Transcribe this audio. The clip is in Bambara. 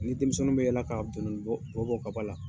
Ni denmisɛnw bɛ yaala ka bɔ bɔ ka bɔ a la.